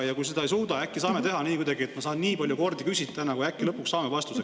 Ja kui ta seda ei suuda, siis äkki saame kuidagi teha nii, et ma saan nii palju kordi küsida, kuni äkki lõpuks saame vastuse.